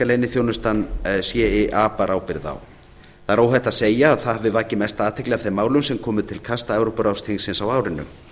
leyniþjónustan cia bar ábyrgð á það er óhætt að segja að það hafi vakið mesta athygli af þeim málum sem komu til kasta evrópuráðsþingsins á árinu